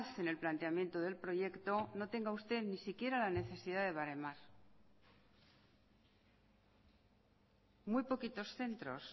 en el planteamiento del proyecto no tenga usted ni siquiera la necesidad de baremar muy poquitos centros